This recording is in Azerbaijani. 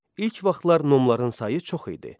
İlk vaxtlar nomların sayı çox idi.